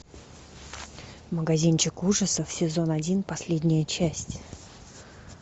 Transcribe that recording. магазинчик ужасов сезон один последняя часть